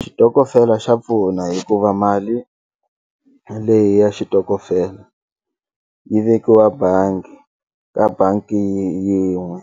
Xitokofela xa pfuna hikuva mali leyi ya xitokofela yi vekiwa bangi ka bangi yin'we